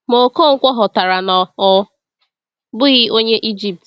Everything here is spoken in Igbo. Ma, Ọkọnkwo ghọtara na ọ bụghị Onye Ijipt.